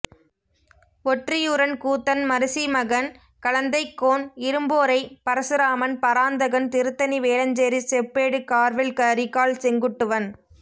ஒற்றியூரன் கூத்தன் மரீசிமகன் களந்தைக்கோன் இரும்போரை பரசுராமன் பராந்தகன் திருத்தணி வேலஞ்சேரி செப்பேடு கார்வேல் கரிகால் செங்குட்டுவன்